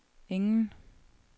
ingen